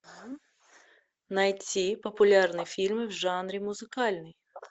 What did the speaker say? найти популярные фильмы в жанре музыкальный